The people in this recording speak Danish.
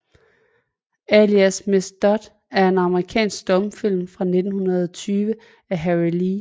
Alias Miss Dodd er en amerikansk stumfilm fra 1920 af Harry L